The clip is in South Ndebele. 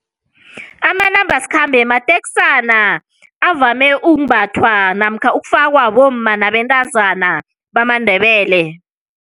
Amanambasikhambe mateksana avame ukumbathwa namkha ukufakwa bomma nabentazana bamaNdebele.